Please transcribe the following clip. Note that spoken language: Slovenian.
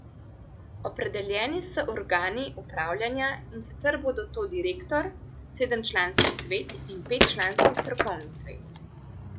Opredeljeni so organi upravljanja, in sicer bodo to direktor, sedemčlanski svet in petčlanski strokovni svet.